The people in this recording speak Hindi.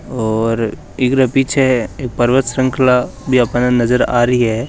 औरइकरे पीछे एक पर्वत श्रंखला भी आपां न नजर आ रही है।